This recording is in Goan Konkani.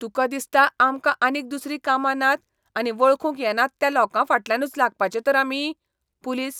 तुकां दिसता आमकां आनीक दुसरीं कामा नात आनी वळखूंक येनात त्या लोकांफाटल्यानूच लागपाचें तर आमी? पुलीस